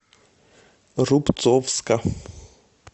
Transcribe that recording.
рубцовска